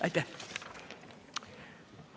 Aitäh!